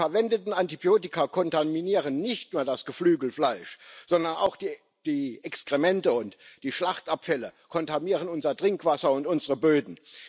Die verwendeten Antibiotika kontaminieren nicht nur das Geflügelfleisch, sondern auch die Exkremente und die Schlachtabfälle, sie kontaminieren unser Trinkwasser und unsere Böden.